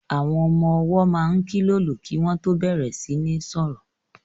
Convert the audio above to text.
Àwọn ọmọ-ọwọ́ máa kílòlò kí wọ́n tó bẹ̀rẹ̀ sí ní sọ̀rọ̀